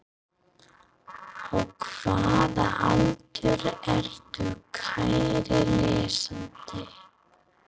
Á hvaða aldri ertu kæri lesandi?